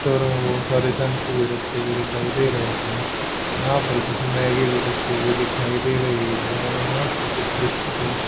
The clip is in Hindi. टोरों में बहुत सारे शैंपू भी रखे हुए दिखाई दे रहे हैं यहां पर कुछ मैगी भी रखी हुई दिखाई दे रही है यहां पर कुछ बिस्किट भी --